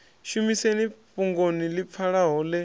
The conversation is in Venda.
shumiseni fhungoni ḽi pfalaho ḽe